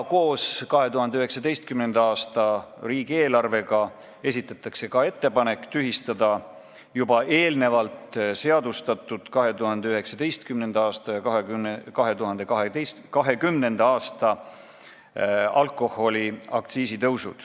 Koos 2019. aasta riigieelarvega esitatakse ka ettepanek tühistada juba eelnevalt seadustatud alkoholiaktsiisi tõusud 2019. ja 2020. aastal.